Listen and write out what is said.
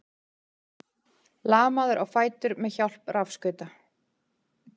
Lamaður á fætur með hjálp rafskauta